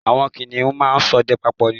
Àwọn kìnìun máa ń ṣọdẹ papọ̀ ni